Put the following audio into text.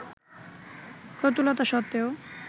প্রতুলতা সত্ত্বেও